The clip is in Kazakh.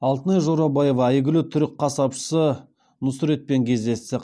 алтынай жорабаева әйгілі түрік қасапшысы нұсретпен кездесті